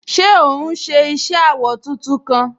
Ṣé òún ṣe iṣẹ awọ tuntun kan?